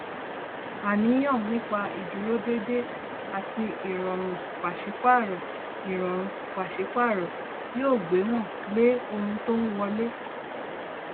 àníyàn nípa ìdúródédé àti ìrọrùn pàsípààrọ ìrọrùn pàsípààrọ yóò gbéwòn lé ohun tó ń wọlé